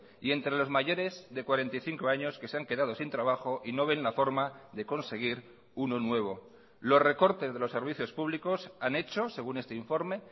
y entre los mayores de cuarenta y cinco años que se han quedado sin trabajo y no ven la forma de conseguir uno nuevo los recortes de los servicios públicos han hecho según este informe